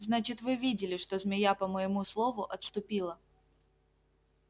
значит вы видели что змея по моему слову отступила